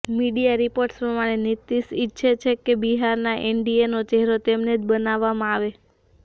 media reports પ્રમાણે નીતીશ ઇચ્છે છે કે બિહારમાં એનડીએનો ચહેરો તેમને જ બનાવામાં આવે